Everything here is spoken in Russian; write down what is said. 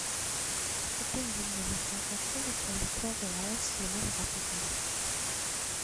купи гель для мытья посуды пол литровый аос с любым запахом